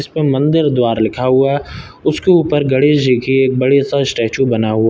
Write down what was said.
इसपे मंदिर द्वारा लिखा हुआ उसके ऊपर गणेश जी की एक बड़ी सा स्टेचू बना हुआ --